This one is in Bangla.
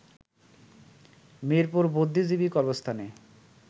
মিরপুর বুদ্ধিজীবী কবরস্থানে